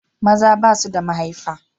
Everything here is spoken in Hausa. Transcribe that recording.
Maza ba su da mahaifar.